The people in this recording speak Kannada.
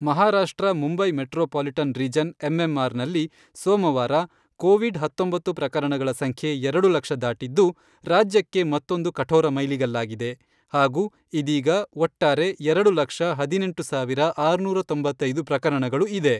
Maharashtra Mumbai metropolitan region MMR ನಲ್ಲಿ ಸೋಮವಾರ, ಕೋವಿಡ್ ಹತ್ತೊಂಬತ್ತು ಪ್ರಕರಣಗಳ ಸಂಖ್ಯೆ ಎರಡು ಲಕ್ಷ ದಾಟಿದ್ದು, ರಾಜ್ಯಕ್ಕೆ ಮತ್ತೊಂದು ಕಠೋರ ಮೈಲಿಗಲ್ಲಾಗಿದೆ ಹಾಗೂ ಇದೀಗ ಒಟ್ಟಾರೆ ಮೂರು ಲಕ್ಷ ಹದಿನೆಂಟು ಸಾವಿರದ ಆರುನೂರ ತೊಂಬತ್ತೈದು ಪ್ರಕರಣಗಳು ಇದೆ.